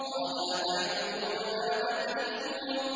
قَالَ أَتَعْبُدُونَ مَا تَنْحِتُونَ